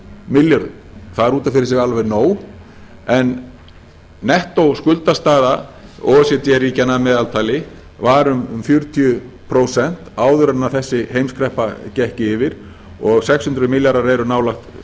milljörðum það er út af fyrir sig alveg nóg en nettóskuldastaða o e c d ríkjanna að meðaltali var um fjörutíu prósent áður en þessi heimskreppa gekk yfir og sex hundruð milljarðar eru nálægt